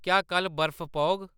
क्या कल्ल बर्फ पौग